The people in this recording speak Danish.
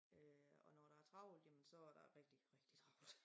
Øh og når der er travlt jamen så er der rigtig rigtig travlt